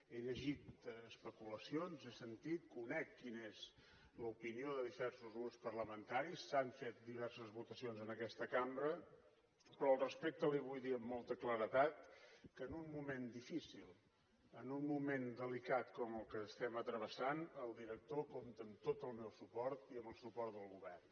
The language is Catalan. he llegit especulacions he sentit conec quina és l’opinió de diversos grups parlamentaris s’han fet diverses votacions en aquesta cambra però al respecte li vull dir amb molta claredat que en un moment difícil en un moment delicat com el que estem travessant el director compta amb tot el meu suport i amb el suport del govern